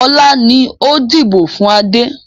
Ọlá ni ó dìbò fun Adé.